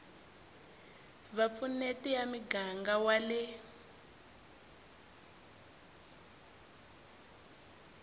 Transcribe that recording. vupfuneti ya muganga wa le